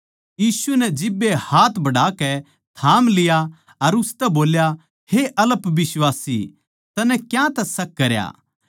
यीशु नै जिब्बे हाथ बढ़ाकै थाम लिया अर उसतै बोल्या हे अल्पबिश्वासी तन्नै क्यांतै शक करया